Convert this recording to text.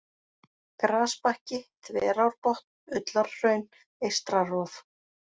Grasbakki, Þverárbotn, Ullarhraun, Eystra-Rof